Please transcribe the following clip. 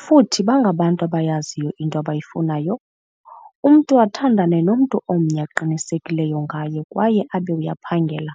futhi bangabantu abayaziyo into abayifunayo, umntu athandane nomntu omnye aqinisekileyo ngaye kwaye abe uyaphangela.